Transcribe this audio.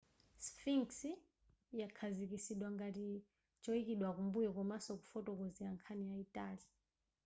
sphinx yakhazikitsidwa ngati choyikidwa kumbuyo komanso kufotokozera nkhani yayitali